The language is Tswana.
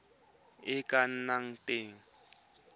e e ka nnang teng